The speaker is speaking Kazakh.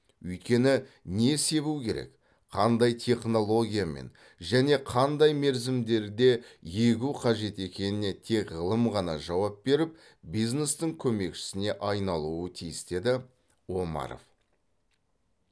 өйткені не себу керек қандай технологиямен және қандай мерзімдерде егу қажет екеніне тек ғылым ғана жауап беріп бизнестің көмекшісіне айналуы тиіс деді омаров